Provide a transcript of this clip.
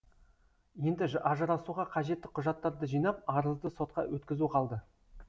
енді ажырасуға қажетті құжаттарды жинап арызды сотқа өткізу қалды